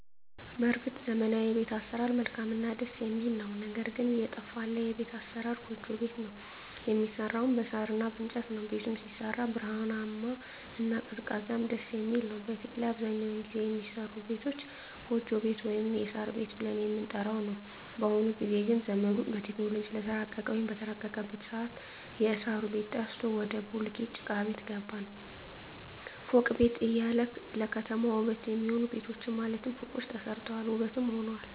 በርግጥ ዘመናዊዉ የቤት አሰራር መልካምእና ደስ የሚል ነዉ ነገር ግን እየጠፋ ያለ የቤት አሰራር ጎጆ ቤት ነዉ የሚሰራዉም በሳር እና በእንጨት ነዉ ቤቱም ሲሰራ ብርሃናማ እና ቀዝቃዛም ደስየሚል ነዉ በፊት ላይ አብዛኛዉን ጊዜ የሚሰሩ ቤቶች ጎጆ ቤት ወይም ደግሞ የሳር ቤት ብለን የምንጠራዉ ነዉ በአሁኑ ጊዜ ግን ዘመኑም በቴክኖሎጂ ስለተራቀቀ ወይም በተራቀቀበት ሰአት የእሳሩ ቤት ጠፍቶ ወደ ቡሉኬት ጭቃቤት ገባን ፎቅ ቤት እያለ ለከተማዋ ዉበት የሚሆኑ ቤቶች ማለትም ፎቆች ተሰርተዋል ዉበትም ሆነዋል